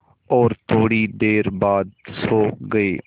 और थोड़ी देर बाद सो गए